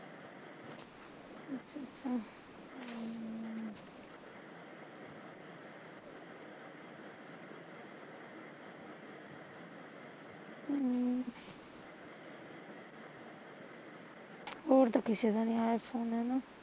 ਹੋਰ ਤਾਂ ਕਿਸੇ ਦਾ ਨੀ ਆਇਆ phone ਹੈਨਾ